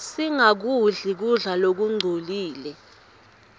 singakudli kudla lokungcolile